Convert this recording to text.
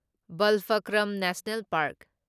Balphakram national park